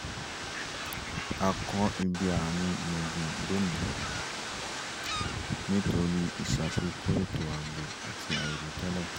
a kọ ibi àárín gbùngbùn lónìí nítorí ìṣàfikún étò ààbò àti àìròtẹ́lẹ̀